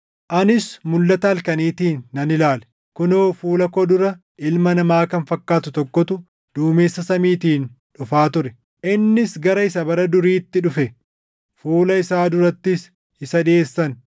“Anis mulʼata halkaniitiin nan ilaale; kunoo fuula koo dura ilma namaa kan fakkaatu tokkotu duumessa samiitiin dhufaa ture. Innis gara Isa Bara Duriitti dhufe; fuula isaa durattis isa dhiʼeessan.